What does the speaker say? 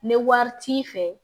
Ni wari t'i fɛ